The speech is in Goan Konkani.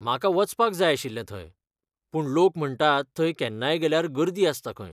म्हाका वचपाक जाय आशिल्लें थंय, पूण लोक म्हणटात थंय केन्नाय गेल्यार गर्दी आसता खंय.